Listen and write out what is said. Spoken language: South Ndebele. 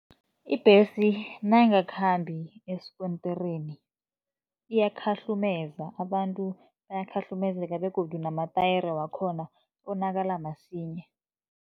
Ibhesi nayingakhambi esikontirini iyakhahlumeza, abantu bayakhahlumezeka begodu namatayere wakhona onakala msinya.